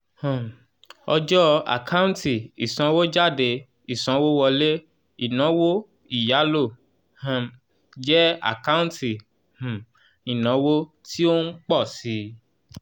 um ọjọ́ àkáǹtì ìsanwójáde ìsanwówọlé inawo ìyálò um jẹ́ àkáǹtì um ìnáwó tí ó ń ń pọ̀ síi